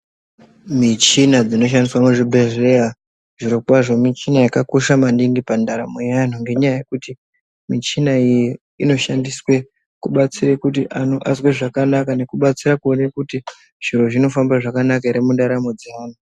Michina dzinoshandiswa muzvibhedhleya, zvirokwazvo michina yakakosha maningi pandaramo yeantu ngenyaya yekuti michina iyi inoshandiswe kubatsire kuti antu azwe zvakanaka nekubatsira kuone kuti zviro zvinofamba zvakanaka here mundaramo dzeantu.